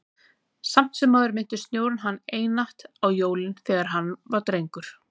Samt sem áður minnti snjórinn hann einatt á jólin, þegar hann var drengur.